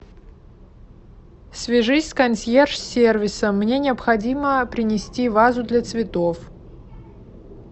свяжись с консьерж сервисом мне необходимо принести вазу для цветов